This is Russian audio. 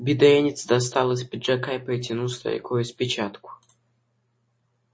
бедренец достал из пиджака и протянул старику распечатку